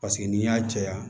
Paseke n'i y'a caya